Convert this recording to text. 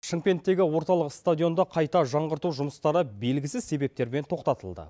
шымкенттегі орталық стадионда қайта жаңғырту жұмыстары белгісіз себептермен тоқтатылды